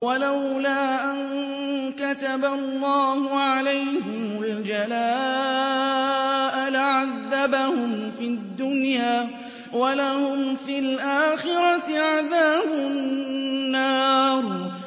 وَلَوْلَا أَن كَتَبَ اللَّهُ عَلَيْهِمُ الْجَلَاءَ لَعَذَّبَهُمْ فِي الدُّنْيَا ۖ وَلَهُمْ فِي الْآخِرَةِ عَذَابُ النَّارِ